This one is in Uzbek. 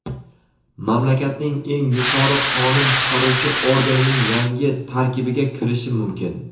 mamlakatning eng yuqori qonun chiqaruvchi organining yangi tarkibiga kirishi mumkin.